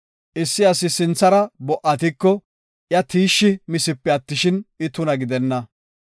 Issi asi sinthara bo77atiko, iya tiishshi misipe attishin, I tuna gidenna.